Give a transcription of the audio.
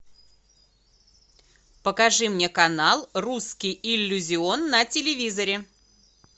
покажи мне канал русский иллюзион на телевизоре